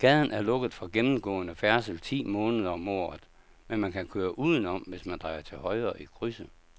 Gaden er lukket for gennemgående færdsel ti måneder om året, men man kan køre udenom, hvis man drejer til højre i krydset.